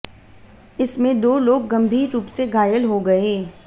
इसमें दाे लोग गंभीर रूप से घायल हो गए